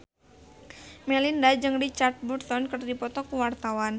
Melinda jeung Richard Burton keur dipoto ku wartawan